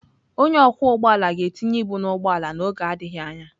Onye ọkwọ ụgbọ ala ga-tinye ibu na ụgbọ ala n'oge adịghị anya.